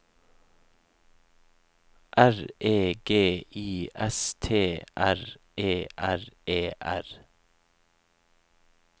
R E G I S T R E R E R